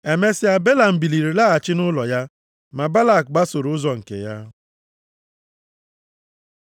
Emesịa, Belam biliri laghachi nʼụlọ ya, ma Balak gbasoro ụzọ nke ya.